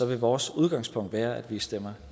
vil vores udgangspunkt være at vi stemmer